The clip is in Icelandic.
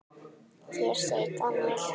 Hér segir Daniel